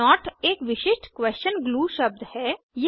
note एक विशिष्ट question clue शब्द है